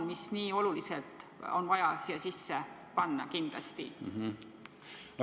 Mis see on, mida on vaja siia sisse panna kindlasti?